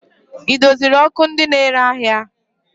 Ị doziri ọkụ ndị na-ere ahịa?